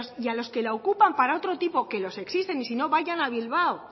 y a los que la ocupan para otro tipo que los existen y si no vayan a bilbao